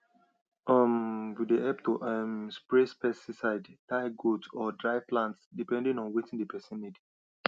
um we dey help to um spray pesticide tie goat or dry plant depending on wetin d person need